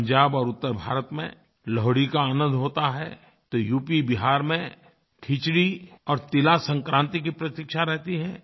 पंजाब और उत्तरभारत में लोहड़ी का आनंद होता है तो यूपीबिहार में खिचड़ी और तिलसंक्रांति की प्रतीक्षा रहती है